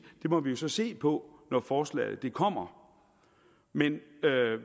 det må vi så se på når forslaget kommer men